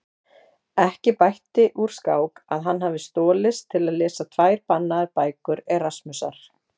Ekki bætti úr skák að hann hafði stolist til að lesa tvær bannaðar bækur Erasmusar.